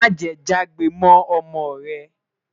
má jè jagbe mọ ọmọ rè